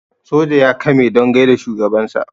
soja ya kame don gaida shugabansa